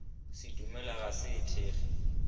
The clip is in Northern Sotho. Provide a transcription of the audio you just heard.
sedumedi ga se e thekge